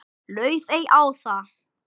Laufey Ása.